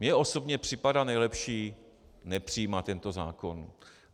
Mně osobně připadá nejlepší nepřijímat tento zákon.